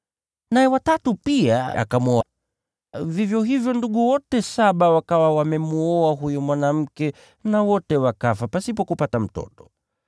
naye wa tatu pia akamwoa. Vivyo hivyo ndugu wote saba wakawa wamemwoa huyo mwanamke, na wote wakafa pasipo yeyote kupata mtoto.